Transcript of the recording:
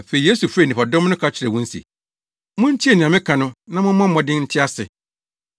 Afei Yesu frɛɛ nnipadɔm no ka kyerɛɛ wɔn se, “Muntie nea meka no na mommɔ mmɔden nte ase.